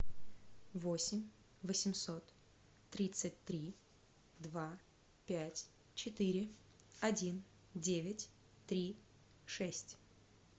восемь восемьсот тридцать три два пять четыре один девять три шесть